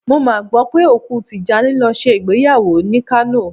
Mo mà gbọ́ pé òkú Tìjání lọ ṣe ìgbéyàwó ni Kánò.